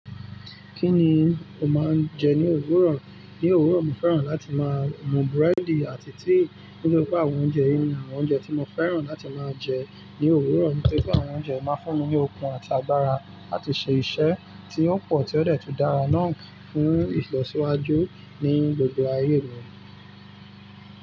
Kí ni o máa ń jẹ ní òwúrọ̀? Ní òwúrọ̀, mo fẹ́ràn láti máa mú búrẹ́dì àti tíì. Nínú gbogbo àwọn oúnjẹ yìí ni àwọn oúnjẹ tí mo fẹ́ràn láti máa jẹ ní òwúrọ̀. Nítorí pé àwọn oúnjẹ máa ń fún mi ní okun àti agbára láti ṣe iṣẹ́ tí ó pọ̀ tí ó dẹ́tùn dára nà án fún ìlọsíwájú ní gbogbo ayé mi.